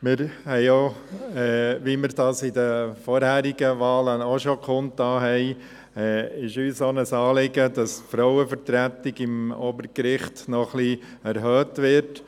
Wie wir dies in den vorherigen Wahlen auch schon kundgetan hatten, ist es uns auch ein Anliegen, dass die Frauenvertretung am Obergericht noch ein bisschen erhöht wird.